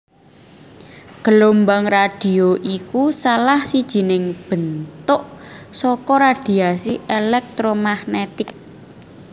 Gelombang radhio iku salah sijining bentuk saka radhiasi élèktromagnètik